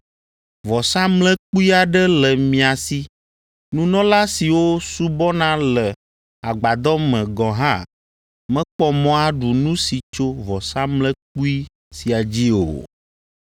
Vɔsamlekpui aɖe le mia si; nunɔla siwo subɔna le Agbadɔ me gɔ̃ hã mekpɔ mɔ aɖu nu si tso vɔsamlekpui sia dzi o.